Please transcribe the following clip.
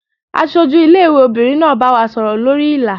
Aṣojú ilé ìwé obìnrin náà bá wa sọ̀rọ̀ lórí Ìlà.